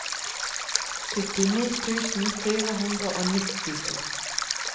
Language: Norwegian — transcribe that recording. syttini tusen fire hundre og nittito